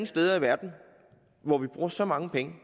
steder i verden hvor man bruger så mange penge